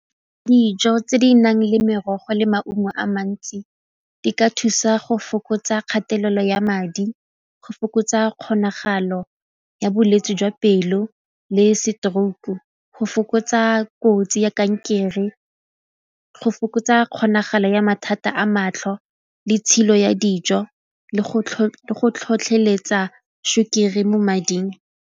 Dijo tse di nang le merogo le maungo a mantsi di ka thusa go fokotsa kgatelelo ya madi go fokotsa kgonagalo ya bolwetse jwa pelo le stroke, go fokotsa kotsi ya kankere, go fokotsa kgonagalo ya mathata a matlho le tshilo ya dijo le go tlhotlheletsa sukiri mo mading.